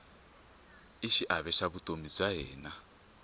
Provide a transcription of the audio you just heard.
i xiave xa vutomi bya hina